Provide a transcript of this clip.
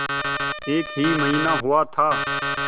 एक ही महीना तो हुआ था